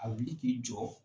A wuli k'i jɔ